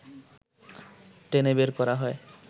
টেনে বের করা হয়